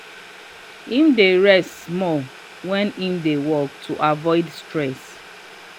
him dey rest small wen him dey work to avoid stress.